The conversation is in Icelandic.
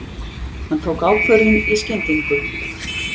Hann tók ákvörðun í skyndingu.